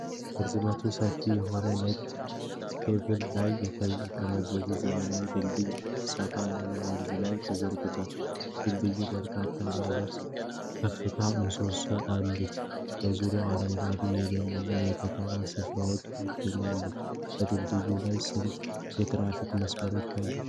ርዝመቱ ሰፊ የሆነ ነጭ ኬብል ላይ የተንጠለጠለ ዘመናዊ ድልድይ ሰፋ ያለ ወንዝ ላይ ተዘርግቷል። ድልድዩ በርካታ ባለ ከፍተኛ ምሰሶዎች አሉት። በዙሪያው አረንጓዴ የደን እና የከተማ ስፍራዎች ይገኛሉ። በድልድዩ ላይ ስንት የትራፊክ መስመሮች አሉ?